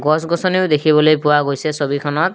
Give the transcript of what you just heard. গছ গছনিও দেখিবলৈ পোৱা গৈছে ছবিখনত।